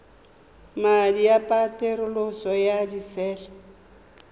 madi a peterolo ya disele